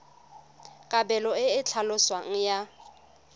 kabelo e e tlhaloswang ya